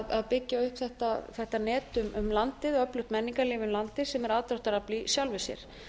að byggja upp eitt net um landið öflugt menningarlíf um landið sem aðdráttarafl í sjálfu sér